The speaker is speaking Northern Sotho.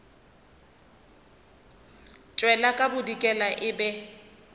tšwela ka bodikela e be